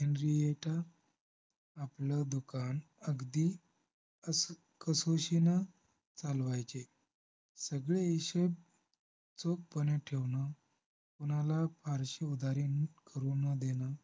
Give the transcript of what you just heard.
Henrietta आपलं दुकान अगदी अस्कसोशीन चालवायचे सगळे हिशेब चोखपणे ठेवणं, कुणाला फारशी उदारी करू नं देणं